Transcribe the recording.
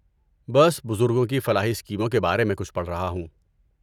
بس بزرگوں کی فلاحی اسکیموں کے بارے میں کچھ پڑھ رہا ہوں۔